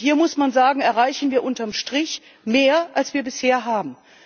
Hier, muss man sagen, erreichen wir unter dem Strich mehr, als wir bisher haben.